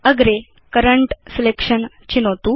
अग्रे current selection चिनोतु